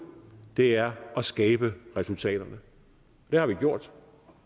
det er at skabe resultaterne det har vi gjort